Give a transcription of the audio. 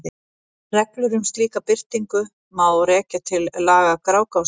Reglur um slíka birtingu má rekja til laga Grágásar.